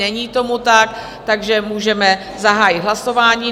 Není tomu tak, takže můžeme zahájit hlasování.